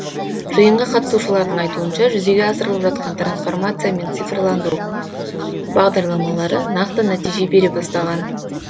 жиынға қатысушылардың айтуынша жүзеге асырлып жатқан трансформация мен цифрландыру бағдарламалары нақты нәтиже бере бастаған